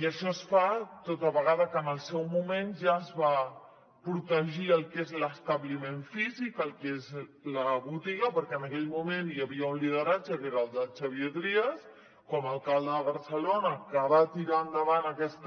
i això es fa tota vegada que en el seu moment ja es va protegir el que és l’establiment físic el que és la botiga perquè en aquell moment hi havia un lideratge que era el del xavier trias com a alcalde de barcelona que va tirar endavant aquest